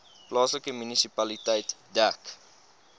plaaslike munisipaliteit dek